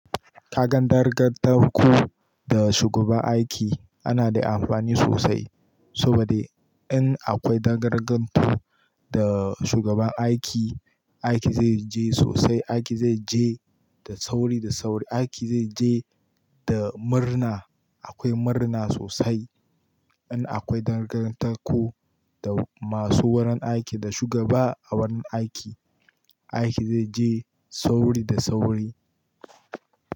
Kagan dangantaku da shugaban aiki ana da amfani sosai, sobadi in akwai dangantaku da shugaban aiki, aiki zai je sosai, aiki zai je da sauri da sauri, aiki zai je da murna. Akwai murna sosai in akwai dangantaku da masu wurin aiki da shugaba a wurin aiki, aiki zai je sauri da sauri.